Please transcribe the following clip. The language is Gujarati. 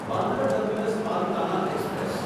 Bandra terminus Palitana express